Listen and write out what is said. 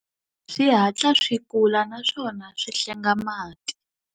Swi hatla swi kula naswona swi hlenga mati.